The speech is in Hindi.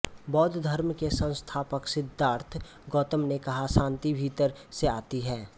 बौद्ध धर्म के संस्थापक सिद्धार्थ गौतम ने कहा शांति भीतर से आती है